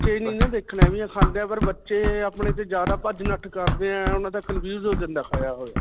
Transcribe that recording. ਹੀ ਨਹੀਂ ਨਾ ਦੇਖਨੇ ਵੀ ਓਹ ਖਾਂਦੇ ਵੀ ਹੈ ਪਰ ਬੱਚੇ ਅਪਨੇ ਤੋਂ ਜਿਆਦਾ ਭੱਜ-ਨਠ ਕਰਦੇ ਹੈ. ਓਨ੍ਹਾਂ ਦਾ ਹੋ ਜਾਂਦਾ ਹੈ ਖਾਇਆ ਹੋਇਆ.